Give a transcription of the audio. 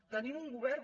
tenim un govern